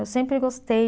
Eu sempre gostei.